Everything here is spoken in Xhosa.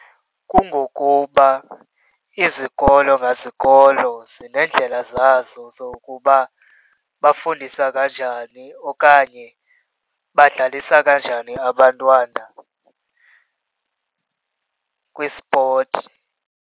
Kungokuba izikolo ngezikolo zineendlela zazo zokuba bafundiswa kanjani okanye badlalisa kanjani abantwana kwispothi.